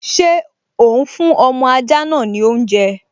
Ṣé òún fún ọmọ ajá náà ní oúnjẹ?